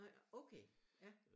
Nej okay ja